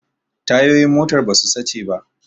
Tayoyin motar ba su sace ba